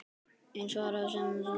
Eina svarið sem stóð eftir.